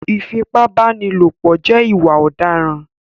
ìfipábánilòpọ̀ jẹ́ ìwà òdaràn